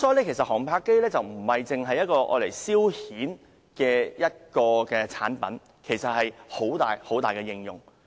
因此，航拍機不單是用作消遣的產品，其實已被廣泛應用。